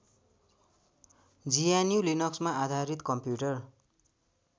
जिएनयुलिनक्समा आधारित कम्युटर